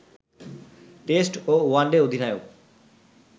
test ও one day অধিনায়ক